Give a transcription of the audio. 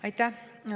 Aitäh!